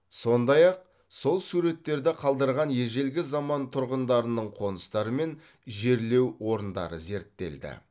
сондай ақ сол суреттерді қалдырған ежелгі заман тұрғындарының қоныстары мен жерлеу орындарын зерттелді